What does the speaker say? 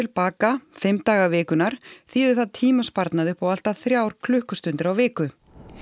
baka fimm daga vikunnar þýðir það tímasparnað upp á allt að þrjár klukkustundir á viku